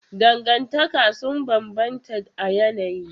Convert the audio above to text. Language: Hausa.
Dangantaka sun bambanta a yanayi.